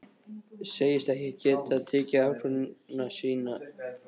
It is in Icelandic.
Segist ekki geta tekið ákvörðun í síma.